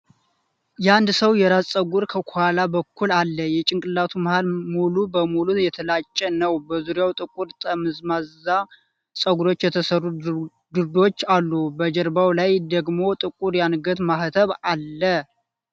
የአንድ ሰው የራስ ፀጉር ከኋላ በኩል አለ፣ የጭንቅላቱ መሀል ሙሉ በሙሉ የተላጨ ነው። በዙሪያው ጥቁር ጠምዛዛ ፀጉሮች የተሠሩ ድሪዶች አሉ፣ በጀርባው ላይ ደግሞ ጥቁር የአንገት ማህተብ አለ።